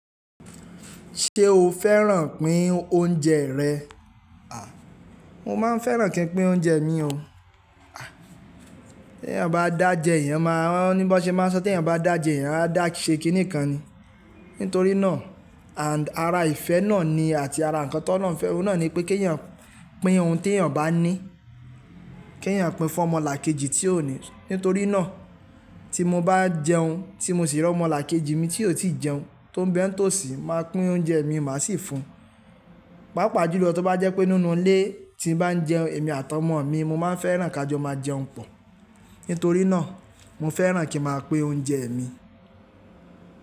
Ṣé o fẹ́ràn pín oúnjẹ rẹ̀? Ah, mo ma n fẹràn ki n pin ounjẹ mi o. À, tí èèyàn bá dáa jẹ, èèyàn máa ń ní bó ṣe máa sọ́ tí èèyàn bá dáa jẹ, èèyàn á dà ṣe kíní kan ni. Nítorí náà, and àrà ìfẹ́ náà ni àti ara ǹkan ti Olohun fẹ́, ọ̀nà ni pé kí èèyàn pín ohun tí èèyàn bá ní. Kí èèyàn pín fún ọmọlàkejì tí ó ní. Nítorí náà tí mo bá jẹun, tí mo sì rí ọmọlàkejì mi tí ó ti jẹun tó ń bẹ́ ń tòsí, màá pín oúnjẹ mi, màá sì fún un. Pàápàá jùlọ tó bá jẹ́ pé nínú ilé tí mo bá ń jẹun, èmi àtàwọn ọmọ mi, mo máa ń fẹ́ràn kí a jọ máa jẹun pọ̀. Nítorí náà mo fẹ́ràn kí màá pín oúnjẹ mi.